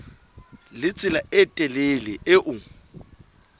le tsela e telele eo